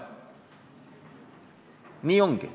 Nii ongi.